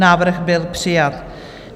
Návrh byl přijat.